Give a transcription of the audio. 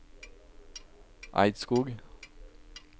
Eidskog